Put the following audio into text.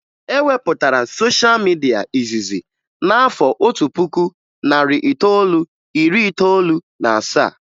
E wepụtara sosha midia izizi n'afọ otu puku, narị itoolu, iri itoolu na asaa